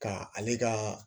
Ka ale ka